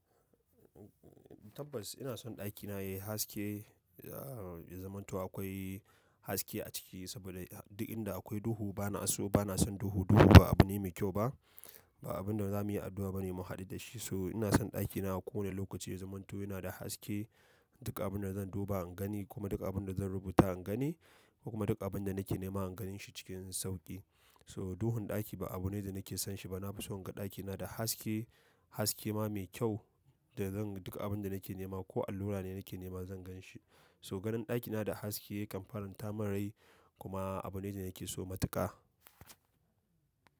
Tabbas ina son ɗakina yayi haske, ya zamanto akwai haske a ciki saboda duk inda akwai duhu bana so, bana son duhu. Duhu ba abu ne mai kyau ba, ba abun da za mu yi addu'a bane mu haɗu da shi. So ina son ɗakina a kowane lokaci ya zamanto yana da haske. Duk abun da zan duba in gani ko duk abin da zan rubuta in gani, ko duk abin da nake nema ingani shi cikin sauki. So duhun ɗaki ba abu ne da nake son shi ba. Na fi so in ga ɗakina da haske, haske ma mai kyau da zan duka abun da nake nema ko allura ne nake nema zan gan shi. To ganin ɗakina da haske kan fara yin ta marai kuma abu ne da yake so matuƙa.